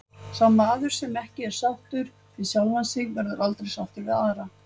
Sá maður sem ekki er sáttur við sjálfan sig verður aldrei sáttur við aðra.